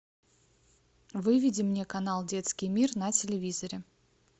выведи мне канал детский мир на телевизоре